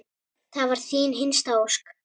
Það var þín hinsta ósk.